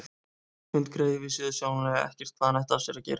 Hundgreyið vissi auðsjáanlega ekkert hvað hann ætti af sér að gera.